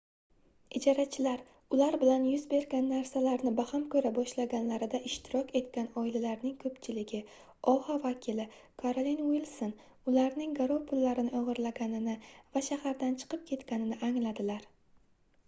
ijarachilar ular bilan yuz bergan narsalarni baham koʻra boshlaganlarida ishtirok etgan oilalarning koʻpchiligi oha vakili karolin uilson ularning garov pullarini ogʻirlaganini va shahardan chiqib ketganini angladilar